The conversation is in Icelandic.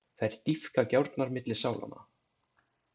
Þær dýpka gjárnar milli sálanna.